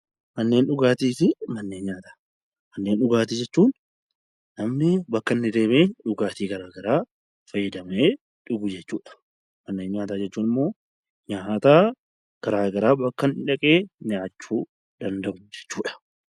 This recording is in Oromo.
Manneen dhugaatii fi manneen nyaataa Manneen dhugaatii jechuun namni bakka inni deemee dhugaatii gara garaa faytadamee dhugu jechuudha. Manneen nyaataa jechuun immoo nyaata gara garaa bakka inni dhaqee nyaachuu danda'u jechuu dha.